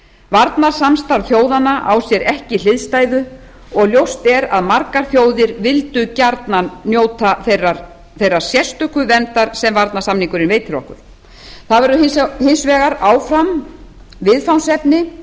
varnarsamstarf þjóðanna á sér ekki hliðstæðu og ljóst er að margar þjóðir vildu gjarnan njóta þeirrar sérstöku verndar sem varnarsamningurinn veitir okkur það verður hins vegar áfram viðfangsefni